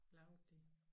Lavede de